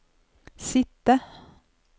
sitte